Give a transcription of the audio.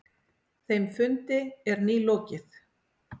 Þeim fundi er nýlokið.